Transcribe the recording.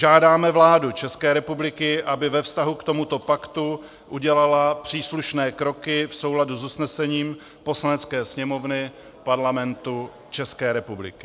Žádáme vládu České republiky, aby ve vztahu k tomuto paktu udělala příslušné kroky v souladu s usnesením Poslanecké sněmovny Parlamentu České republiky.